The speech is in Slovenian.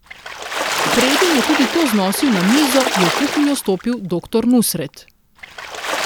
Preden je tudi to znosil na mizo, je v kuhinjo stopil doktor Nusret.